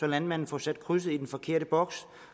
landmanden får sat krydset i den forkerte boks